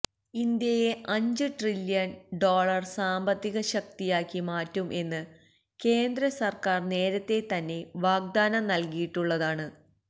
ഇന്ത്യയെ അഞ്ച് trillion dollar സാമ്പത്തിക ശക്തിയാക്കി മാറ്റും എന്ന് കേന്ദ്ര സര്ക്കാര് നേരത്തെ തന്നെ വാഗ്ദാനം നല്കിയിട്ടുളളതാണ്